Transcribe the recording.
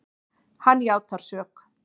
Hann játar sök.